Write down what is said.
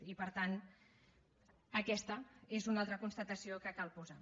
i per tant aquesta és una altra constatació que cal posar